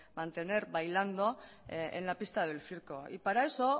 mantener bailando en la pista del circo y para eso